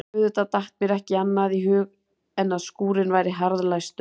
Auðvitað datt mér ekki annað í hug en að skúrinn væri harðlæstur.